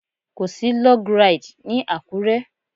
Kò sí Log Ride ní Àkúré.